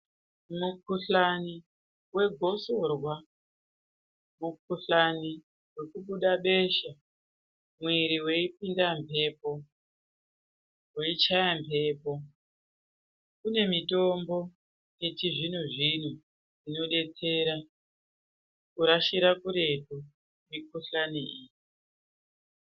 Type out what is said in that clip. Mukuhlani wegosorwa, mukuhlani wekubuda besha mwiri weipinda mbepo, weichaya mbepo, kune mitombo yechizvino zvino inodetsera kurashira kuretu mikuhlani iyi.